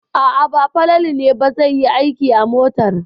A'a, ba Falalu ne ba zai yi aiki a motar.